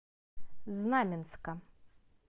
знаменска